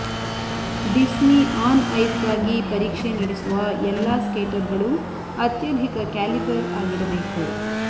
Disney on ಐಸ್ಗಾಗಿ ಪರೀಕ್ಷೆ ನಡೆಸುವ ಎಲ್ಲಾ ಸ್ಕೇಟರ್ಗಳು ಅತ್ಯಧಿಕ ಕ್ಯಾಲಿಬರ್ ಆಗಿರಬೇಕು